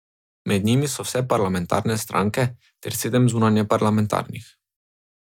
Med njimi so vse parlamentarne stranke ter sedem zunajparlamentarnih.